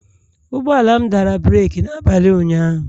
Ụgbọ ala m dara breeki n'abalị ụnyaahụ